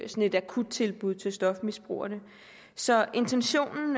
et akuttilbud til stofmisbrugerne så intentionen